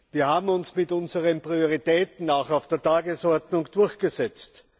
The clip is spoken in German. Wir haben uns mit unseren Prioritäten auch auf der Tagesordnung durchgesetzt.